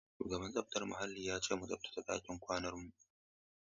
Shugaban tsaftar muhalli ya ce mu tsaftace ɗakin kwanan mu.